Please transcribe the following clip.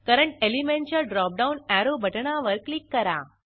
current एलिमेंटच्या drop down arrow बटणावर click करा